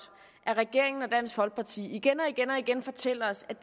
at regeringen og dansk folkeparti igen og igen og igen fortæller os at